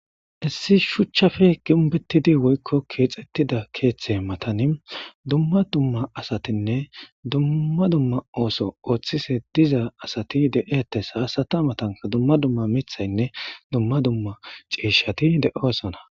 Issi shuchchafe ginbetidi woykko kiexettida keeththe matani dumma dumma asatinne dumma dumma ooso ooththise diza asati de'etes haasata matanka dumma dumma mithaynne dumma dumma ciishati de'osona